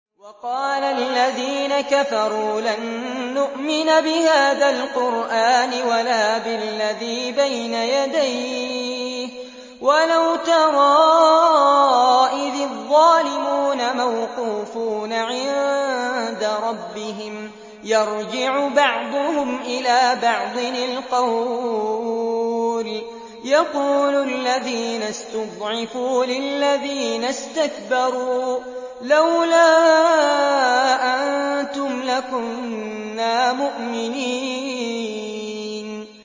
وَقَالَ الَّذِينَ كَفَرُوا لَن نُّؤْمِنَ بِهَٰذَا الْقُرْآنِ وَلَا بِالَّذِي بَيْنَ يَدَيْهِ ۗ وَلَوْ تَرَىٰ إِذِ الظَّالِمُونَ مَوْقُوفُونَ عِندَ رَبِّهِمْ يَرْجِعُ بَعْضُهُمْ إِلَىٰ بَعْضٍ الْقَوْلَ يَقُولُ الَّذِينَ اسْتُضْعِفُوا لِلَّذِينَ اسْتَكْبَرُوا لَوْلَا أَنتُمْ لَكُنَّا مُؤْمِنِينَ